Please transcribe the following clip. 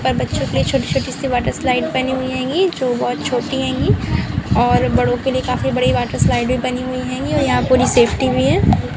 यहाँ पर बच्चों के लिए छोटी- छोटी सी वाटर स्लाइड बनी हुई हेंगी जो बहोत छोटी हेंगी और बड़ों के लिए काफ़ी बड़ी वाटर स्लाइडें भी बनी हुई हेेंगी और यहां पूरी सेफ्टी भी है।